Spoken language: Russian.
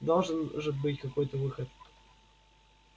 должен же быть какой-то выход